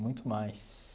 Muito mais.